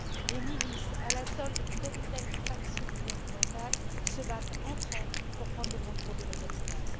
Les milices à la solde de telle ou telle faction gouvernementale se battent entre elles pour prendre le contrôle de la capitale.